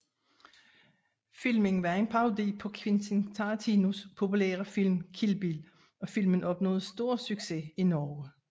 Filmen var en parodi på Quentin Tarantinos populære film Kill Bill og filmen opnåede stor succes i Norge